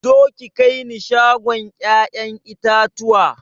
Zo ki kaini shagon ƴaƴan itatuwa